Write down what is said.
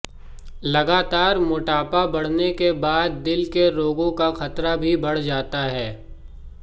लगातार मोटापा बढ़ने के बाद दिल के रोगों का खतरा भी बढ़ जाता है